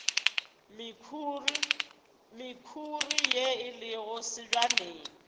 mekhuri ye e lego sebjaneng